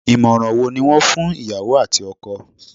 Ìmọ̀ràn wo ni wọ́n fún ìyàwó àti ọkọ?